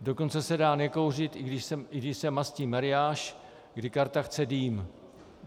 Dokonce se dá nekouřit, i když se mastí mariáš, kdy karta chce dým.